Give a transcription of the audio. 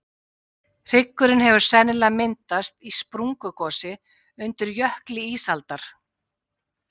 Hryggurinn hefur sennilega myndast í sprungugosi undir jökli ísaldar.